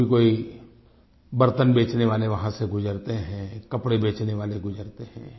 कभी कोई बर्तन बेचने वाले वहाँ से गुजरते हैं कपड़े बेचने वाले गुजरते हैं